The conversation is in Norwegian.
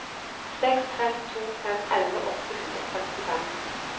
seks fem to fem elleve åtte hundre og femtifem